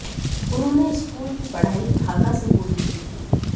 उन्होंने स्कूल की पढ़ाई ढाका से पूरी की थी